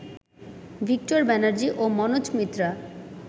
Victor Banerjee ও মনোজ মিত্রা